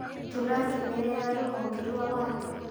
Tũrakenerera rũhonge rwa watho.